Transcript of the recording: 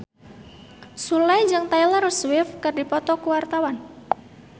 Sule jeung Taylor Swift keur dipoto ku wartawan